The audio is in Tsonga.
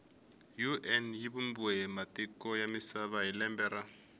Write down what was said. un yivumbiwe hhimatiko yamisava hhilembe ra